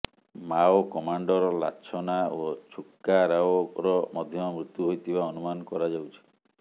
Mao commander Lachhana ଓ ଛୁକା ରାଓର ମଧ୍ୟ ମୃତ୍ୟୁ ହୋଇଥିବା ଅନୁମାନ କରାଯାଉଛି